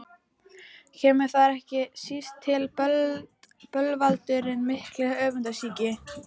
Kemur þar ekki síst til bölvaldurinn mikli, öfundsýki.